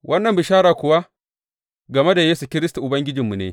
Wannan bishara kuwa game da Yesu Kiristi Ubangijinmu ne.